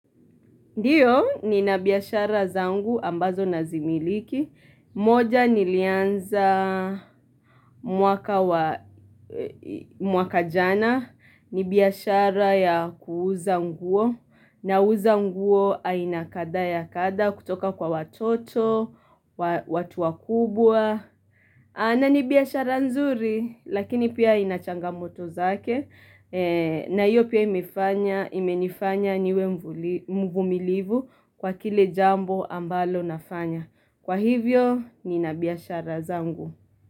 Ndiyo nina biashara zangu ambazo nazimiliki. Moja nilianza mwaka wa mwaka jana. Ni biashara ya kuuza nguo. Nauza nguo aina kadhaa ya kadha kutoka kwa watoto, watu wakubwa. Na ni biashara nzuri lakini pia ina changamoto zake. Na hiyo pia imenifanya niwe mvumilivu kwa kile jambo ambalo nafanya. Kwa hivyo, nina biashara zangu.